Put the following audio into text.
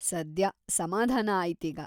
ಸದ್ಯ ಸಮಾಧಾನ ಆಯ್ತೀಗ.